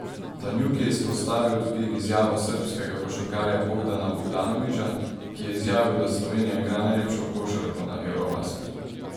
Tanjug je izpostavil tudi izjavo srbskega košarkarja Bogdana Bogdanovića, ki je izjavil, da Slovenija igra najlepšo košarko na eurobasketu.